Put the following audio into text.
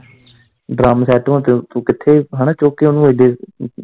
Drum set ਹੁਣ ਤੇ ਕਿੱਥੇ ਹਨਾਂ ਚੁੱਕ ਕੇ ਉਨੂੰ ਏਡੇ।